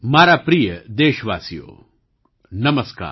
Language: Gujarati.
મારા પ્રિય દેશવાસીઓ નમસ્કાર